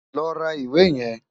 Lọ ra ìwé yẹn!